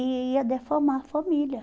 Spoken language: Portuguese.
E ia deformar a família.